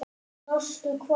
Sástu hvað?